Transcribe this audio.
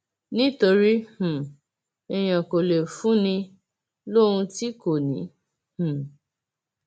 nítorí um èèyàn kò lè fún ni lóhun tí kò ní um